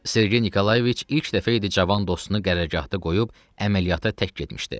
Sergey Nikolayeviç ilk dəfə idi cavan dostunu qərargahda qoyub əməliyyata tək getmişdi.